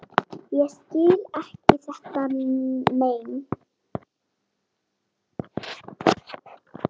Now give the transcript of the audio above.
Ég skil ekki þetta mein.